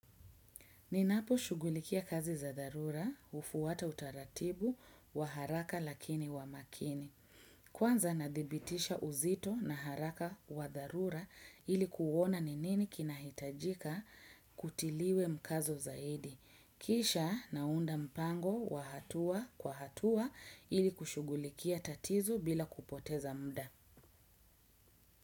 Ninapo shughulikia kazi za dharura, hufwata utaratibu wa haraka lakini wa makini. Kwanza nadibitisha uzito na haraka wa dharura ilikuona ni nini kinahitajika kutiliwe mkazo zaidi. Kisha naunda mpango wa hatua kwa hatua iliku shughulikia tatizo bila kupoteza muda.